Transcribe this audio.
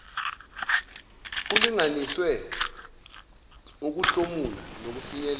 kulinganiswe ukuhlomula nokufinyelela